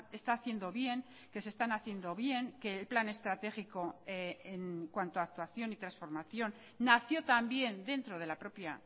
está haciendo bien que se están haciendo bien que el plan estratégico en cuanto actuación y transformación nació también dentro de la propia